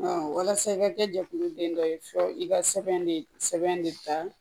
walasa i ka kɛ jɛkuluden dɔ ye fɔ i ka sɛbɛn de sɛbɛn ne ta